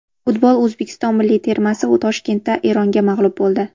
Futbol: O‘zbekiston milliy termasi Toshkentda Eronga mag‘lub bo‘ldi.